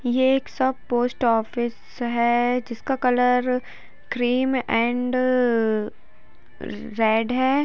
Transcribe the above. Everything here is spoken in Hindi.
यह एक पोस्ट ऑफिस है जिसका कलर क्रीम एंड रेड है।